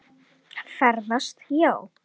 Ferðast já.